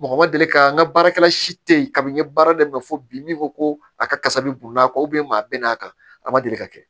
Mɔgɔ ma deli ka n ka baarakɛla si te yen kabi n ye baara daminɛ fo bi ko a ka kasa bi n'a ka maa bɛ n'a kan a ma deli ka kɛ